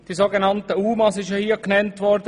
Die so genannten UMA sind hier genannt worden.